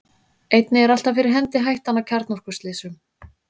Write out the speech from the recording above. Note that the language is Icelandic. einnig er alltaf fyrir hendi hættan á kjarnorkuslysum